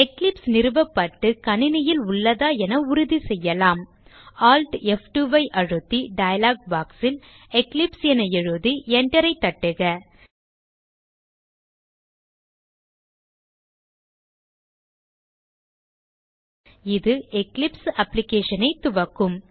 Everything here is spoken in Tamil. எக்லிப்ஸ் நிறுவப்பட்டு கணினியில் உள்ளதா என உறுதிசெய்யலாம் Alt F2 ஐ அழுத்தி டயலாக் box ல் எக்லிப்ஸ் என எழுதி Enter ஐ தட்டுக இது எக்லிப்ஸ் application ஐ துவக்கும்